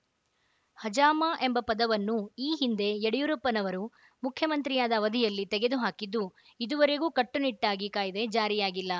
ಹಜಾಮ ಎಂಬ ಪದವನ್ನು ಈ ಹಿಂದೆ ಯಡಿಯೂರಪ್ಪನವರು ಮುಖ್ಯಮಂತ್ರಿಯಾದ ಅವಧಿಯಲ್ಲಿ ತೆಗೆದುಹಾಕಿದ್ದು ಇದುವರೆಗೂ ಕಟ್ಟುನಿಟ್ಟಾಗಿ ಕಾಯ್ದೆ ಜಾರಿಯಾಗಿಲ್ಲ